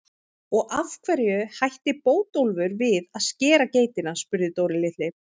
Og af hverju hætti Bótólfur við að skera geitina? spurði Dóri litli.